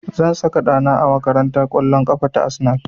Zan saka ɗa na a makarantar ƙwallon ƙafa ta Arsenal